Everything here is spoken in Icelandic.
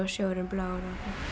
sjórinn er blár